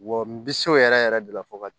Wa n bi so yɛrɛ yɛrɛ de la fo ka